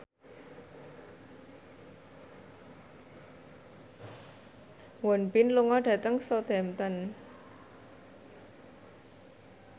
Won Bin lunga dhateng Southampton